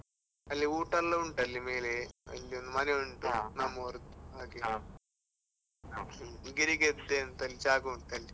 ಅಲ್ಲಿ ಊಟ ಎಲ್ಲ ಉಂಟು ಅಲ್ಲಿ ಮೇಲೆ, ಅಲ್ಲಿ ಒಂದು ಮನೆ ಉಂಟು ಹಾಗೆ. ಹ್ಮ್. ಗಿರಿಗದ್ದೆ ಅಂತ ಒಂದು ಜಾಗ ಉಂಟು ಅಲ್ಲಿ.